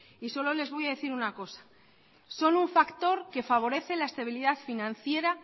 y solo les voy a decir una cosa son un factor que favorece la estabilidad financiera